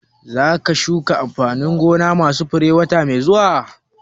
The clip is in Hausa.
Za ka shuka amfanin gona ma su fure wata mai zuwa?